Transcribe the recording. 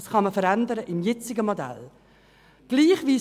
Dies kann man innerhalb des bestehenden Modells verändern.